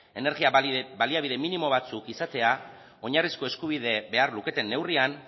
energia baliabide minimo batzuk izatea oinarrizko eskubideek behar luketen neurrian